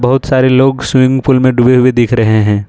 बहुत सारे लोग स्विमिंग पूल में डूबे भी दिख रहे हैं।